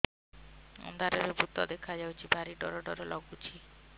ଅନ୍ଧାରରେ ଭୂତ ଦେଖା ଯାଉଛି ଭାରି ଡର ଡର ଲଗୁଛି